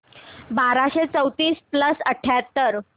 बाराशे चौतीस प्लस अठ्याहत्तर